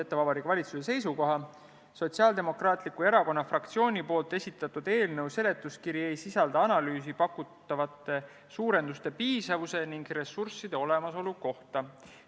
Loen Vabariigi Valitsuse seisukoha ette: "Sotsiaaldemokraatliku Erakonna fraktsiooni poolt esitatud eelnõu seletuskiri ei sisalda analüüsi pakutavate suurenduste piisavuse ning ressursside olemasolu kohta.